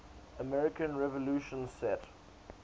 american revolution set